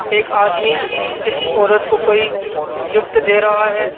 एक आदमी किसी औरत को कोई गिफ्ट दे रहा है।